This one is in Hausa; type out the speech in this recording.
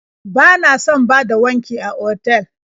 Bana son bada wanki a otal.